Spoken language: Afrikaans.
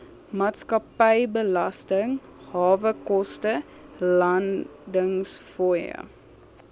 maatskappybelasting hawekoste landingsfooie